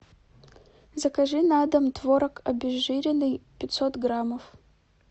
закажи на дом творог обезжиренный пятьсот граммов